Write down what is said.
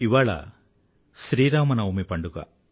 ఇవాళ శ్రీరామనవమి పండుగ